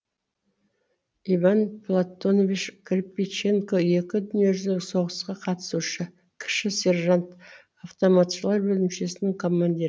иван платонович кирпиченко екі дүниежүзілік соғысқа қатысушы кіші сержант автоматшылар бөлімшесінің командирі